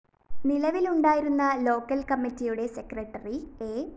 നിലവിലുണ്ടായിരുന്ന local‍ കമ്മറിയുടെ secretary A